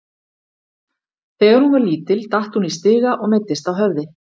Þegar hún var lítil datt hún í stiga og meiddist á höfði.